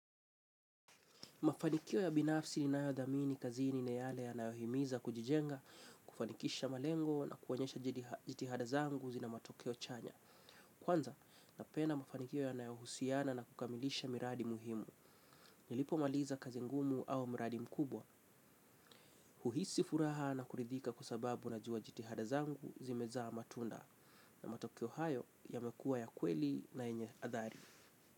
Mafanikio ya binafsi ni nayo dhamini kazi ni yale yanayohimiza kujijenga, kufanikisha malengo na kuwonyesha jitihada zangu zina matokeo chanya. Kwanza, napenda mafanikio yanayohusiana na kukamilisha miradi muhimu. Nilipo maliza kazi ngumu au miradi mkubwa. Huhisi furaha na kuridhika kuasababu na juwa jitihada zangu zimezaa matunda. Na matokeo hayo yamekua ya kweli na enye athari.